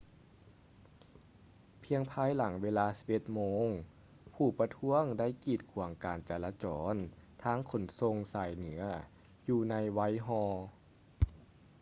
ພຽງພາຍຫຼັງເວລາ 11:00 ໂມງ ຜູ້ປະທ້ວງໄດ້ກີດຂວາງການຈາລະຈອນທາງຂົນສົ່ງສາຍເໜືອຢູ່ໃນ whitehall